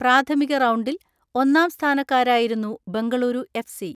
പ്രാഥമിക റൗണ്ടിൽ ഒന്നാം സ്ഥാനക്കാരായിരുന്നു ബെങ്കളൂരു എഫ് സി.